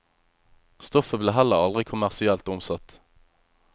Stoffet ble heller aldri kommersielt omsatt.